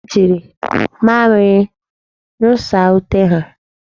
Ha ji mamịrị nyụsaa ute ha.